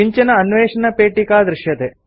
किञ्चन अन्वेषणपेटिका दृश्यते